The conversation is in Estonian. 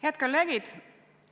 Head kolleegid!